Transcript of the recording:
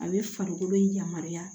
A bɛ farikolo yamaruya